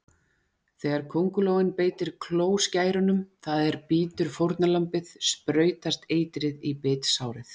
Þegar köngulóin beitir klóskærunum, það er bítur fórnarlambið, sprautast eitrið í bitsárið.